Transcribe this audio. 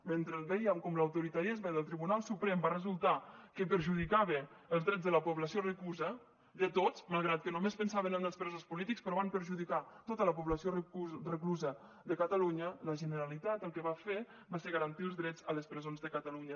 mentre veiem com l’autoritarisme del tribunal suprem va resultar que perjudicava els drets de la població reclusa de tots malgrat que només pensaven en els presos polítics però van perjudicar tota la població reclusa de catalunya la generalitat el que va fer va ser garantir els drets a les presons de catalunya